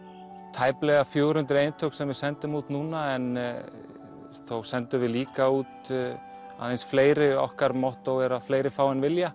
tæplega fjögur hundruð eintök sem við sendum út núna en þó sendum við líka út aðeins fleiri okkar mottó er að fleiri fá en vilja